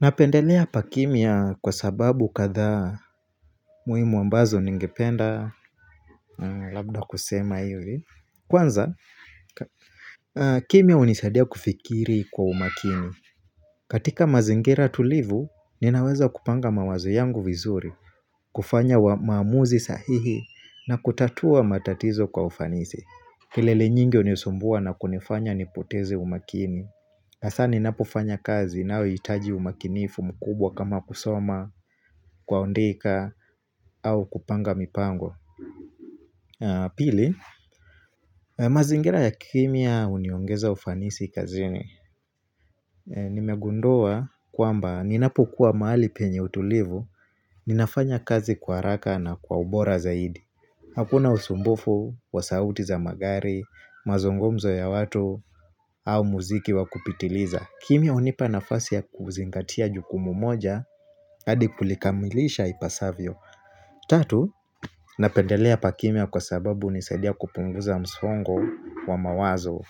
Napendelea pa kimya kwa sababu kadhaa muhimu ambazo ningependa labda kusema hivi. Kwanza, kimya hunisaidia kufikiri kwa umakini. Katika mazingira tulivu, ninaweza kupanga mawazo yangu vizuri, kufanya maamuzi sahihi na kutatua matatizo kwa ufanisi. Kelele nyingi hunisumbua na kunifanya nipoteze umakini. Hasa ninapofanya kazi inayohitaji umakinifu mkubwa kama kusoma, kuandika, au kupanga mipango. Pili, mazingira ya kimya huniongeza ufanisi kazini Nimegundua kwamba ninapokuwa mahali penye utulivu, ninafanya kazi kwa haraka na kwa ubora zaidi. Hakuna usumbufu, wa sauti za magari, mazungumzo ya watu, au muziki wa kupitiliza. Kimya hunipa nafasi ya kuzingatia jukumu moja, hadi kulikamilisha ipasavyo. Tatu, napendelea pa kimya kwa sababu hunisadia kupunguza msongo wa mawazo.